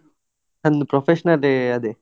ನಂದು professional ಎ ಅದೆ.